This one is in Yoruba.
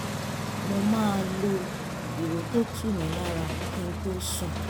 mo máa lo ìró tó tu mi lára kí n tó sùn